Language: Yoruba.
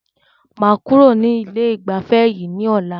Màá kúrò ní ilé ìgbafẹ́ yìí ní ọ̀la.